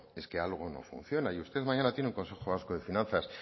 es que algo no funciona y usted mañana tiene un consejo vasco de finanzas